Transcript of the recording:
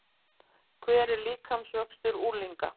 Hver er líkamsvöxtur unglinga?